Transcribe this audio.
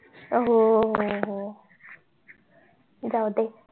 हो हो हो जाऊदे